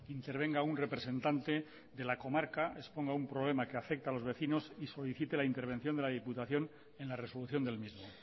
intervenga un representante de la comarca exponga un problema que afecte a los vecinos y solicite la intervención de la diputación en la resolución del mismo